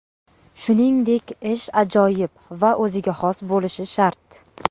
Shuningdek, ish ajoyib va o‘ziga xos bo‘lishi shart.